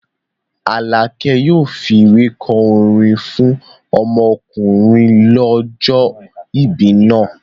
Alákẹ́ yóò fi ìwé kọ orin fún ọmọkùnrin ọlọ́jọ́ìbí náà